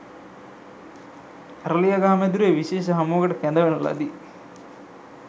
අරලියගහ මැදුරේ විශේෂ හමුවකට කැඳවන ලදි